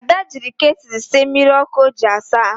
Ada jiri ketulu sie mmiri ọkụ o ji asa ahụ